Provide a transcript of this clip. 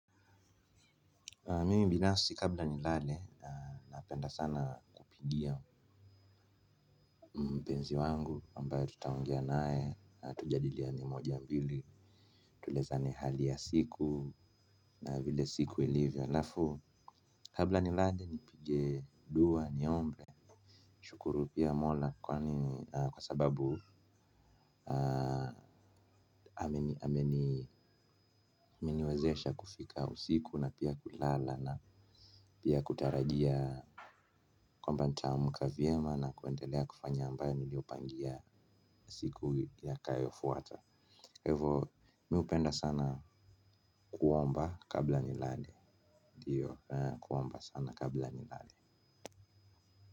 Mimi binansi kabla nilale napenda sana kupigia mpenzi wangu ambayo tutaongea naye na tujadiliane moja mbili. Tuelezane hali ya siku na vile siku ilivyo halafu kabla nilale nipige dua niombe nishukuru pia mola kwani kwa sababu amani ameniwezesha kufika usiku na pia kulala na pia kutarajia kwamba nitaamka vyema na kuendelea kufanya ambayo niliyopangia siku yatakayofuata kwa hivo mi hupenda sana kuomba kabla nilale ndio kuomba sana kabla nilale.